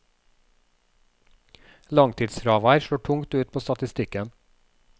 Langtidsfravær slår tungt ut på statistikken.